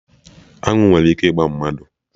Aṅụ nwere ike ịgba mmadụ